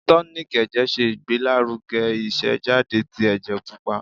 Tonik ẹ̀jẹ̀ se Igbelaruge isejade ti ẹjẹ pupa.